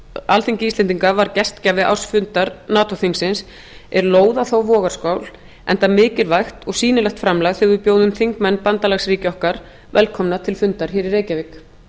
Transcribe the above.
alþingi íslendinga var gestgjafi ársfundar nato þingsins er lóð á þá vogarskál enda mikilvægt og sýnilegt framlag þegar við bjóðum þingmenn bandalagsríkja okkar velkomna til fundar hér í reykjavík